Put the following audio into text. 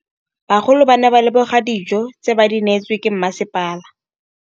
Bagolo ba ne ba leboga dijô tse ba do neêtswe ke masepala.